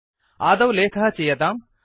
आदौ लेखः चीयताम्